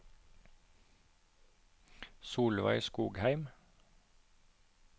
Solveig Skogheim